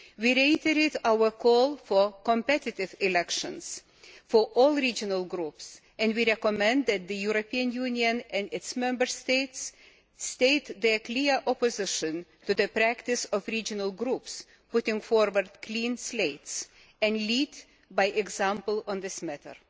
We reiterate our call for competitive elections for all regional groups, and we recommend that the European Union and its Member States state their clear opposition to the practice of regional groups putting forward clean slates' and lead by example on this matter.